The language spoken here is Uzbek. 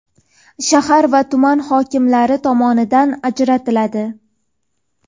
shahar va tuman hokimlari tomonidan ajratiladi.